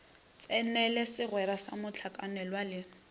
tsenele segwera sa mohlakanelwa le